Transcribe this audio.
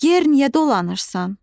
Yer niyə dolanırsan?